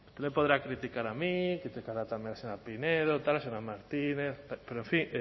me podrá criticar a mí criticará también a la señora pinedo señora martínez pero en fin